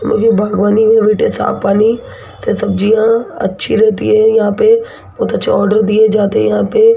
मुझे बागवानी में साफ पानी से सब्जियां अच्छी रहती है यहां पे बहुत अच्छे आर्डर दिए जाते हैं यहां पे --